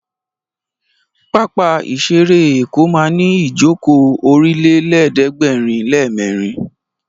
Pápá ìṣeré Èkó ma ní ìjókòó Ọ̀rìnlélẹ̀ẹ́dẹ́gbèrinlémẹ́rin